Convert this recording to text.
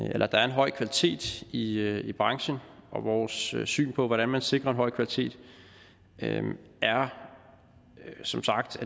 høj kvalitet i i branchen og vores syn syn på hvordan man sikrer en høj kvalitet er som sagt